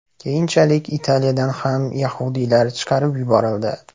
Keyinchalik Italiyadan ham yahudiylar chiqarib yuborildi.